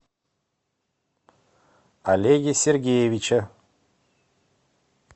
олеге сергеевиче